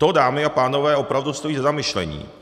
To, dámy a pánové, opravdu stojí za zamyšlení.